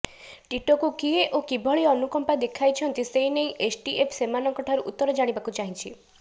ଟିଟୋକୁ କିଏ ଓ କିଭଳି ଅନୁକମ୍ପା ଦେଖାଇଛନ୍ତି ସେନେଇ ଏସଟିଏଫ ସେମାନଙ୍କଠାରୁ ଉତ୍ତର ଜାଣିବାକୁ ଚାହିଛି